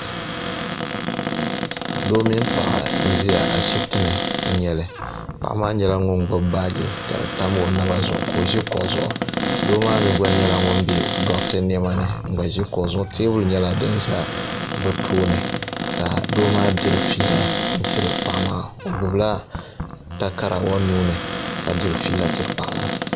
Doo mini paɣa n ʒia ashipti ni n nyɛli paɣa maa nyɛla ŋun gbibi baajika di tam o naba zuɣu ka o ʒi kuɣu zuɣu doo maa mee nyɛla ŋun be doɣate niɛma ni n gba ʒi kuɣu zuɣu teebuli nyɛla din za bɛ tooni ka doo maa diri fiila n tiri paɣa maa o gbibila takara o nuuni ka diri fiila tiri paɣa maa.